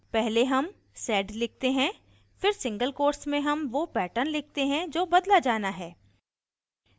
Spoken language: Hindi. पहले हम sed लिखते हैं फिर single quotes में हम वो pattern लिखते हैं जो बदला जाना है